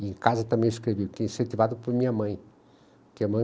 E em casa também escrevia, que é incentivado por minha mãe. Que